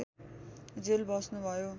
jail बस्नुभयो